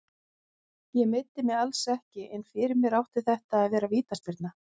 Ég meiddi mig alls ekki, en fyrir mér átti þetta að vera vítaspyrna.